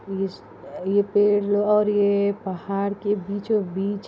इस ये पेड और ये पहाड़ के बीचों बीच --